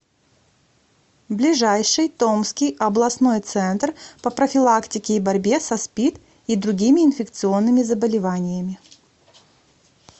ближайший томский областной центр по профилактике и борьбе со спид и другими инфекционными заболеваниями